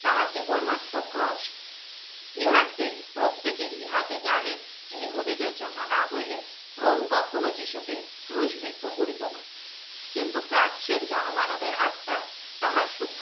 তাহা কেবলমাত্র ক্রস ইহার চেয়ে প্রত্যেকে ইহাকে জানেন ইহুদীদের জন্য না হইলে রোম কখনো যীশুকে ক্রুশ বিদ্ধ করিতো না কিন্তু প্রাচ্যের জন মানবের আত্মা তাহার সুখ